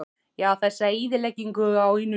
Já, þessa eyðileggingu á einu lífi.